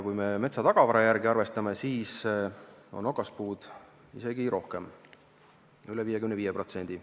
Kui me metsa tagavara järgi arvestame, siis on okaspuud isegi rohkem, üle 55%.